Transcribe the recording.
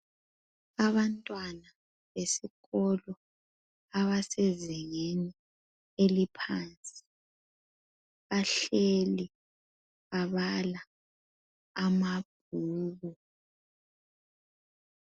Abantwana besikolo abasezingeni eliphansi bahleli babala amabhuku.